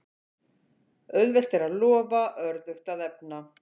Auðvelt er að lofa, örðugt að efna.